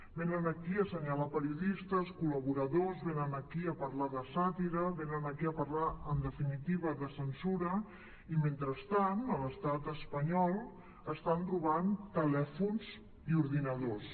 venen aquí a assenyalar periodistes col·laboradors venen aquí a parlar de sàtira venen aquí a parlar en definitiva de censura i mentrestant a l’estat espanyol estan robant telèfons i ordinadors